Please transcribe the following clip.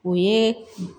O ye